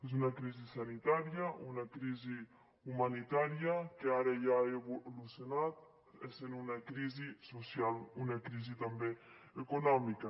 és una crisi sanitària una crisi humanitària que ara ja ha evolucionat i és una crisi social una crisi també econòmica